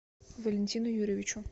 валентину юрьевичу